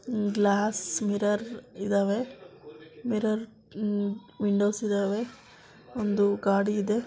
Glass mirror ಇದಾವೆ mirror hmm windows ಇದಾವೆ ಒಂದು ಗಾಡಿ ಇದೆ.